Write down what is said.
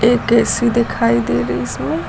एक ए_सी दिखाई दे रही इसमें।